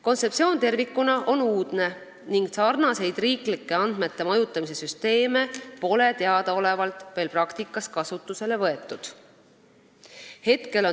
Kontseptsioon tervikuna on uudne ning sarnaseid riiklikke andmete majutamise süsteeme pole teadaolevalt veel praktikas kasutusele võetud.